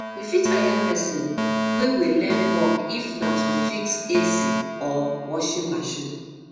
we fit hire um person um wey um wey learn work if na to fix um ac or washing machine